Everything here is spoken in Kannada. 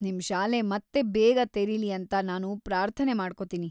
ನಿಮ್ ಶಾಲೆ ಮತ್ತೆ ಬೇಗ ತೆರೀಲಿ ಅಂತ ನಾನು ಪ್ರಾರ್ಥನೆ ಮಾಡ್ಕೋತೀನಿ.